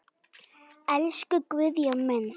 Elsku Guðjón minn.